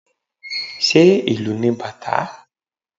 Ṣé ìlù ni bàtá?